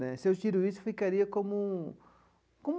Né se eu tiro isso, ficaria como como.